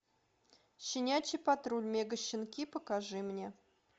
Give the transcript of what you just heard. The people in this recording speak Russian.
щенячий патруль мегащенки покажи мне